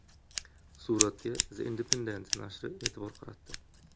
Suratga The Independent narshi e’tibor qaratdi .